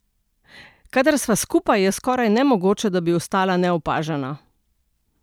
Kadar sva skupaj, je skoraj nemogoče, da bi ostala neopažena.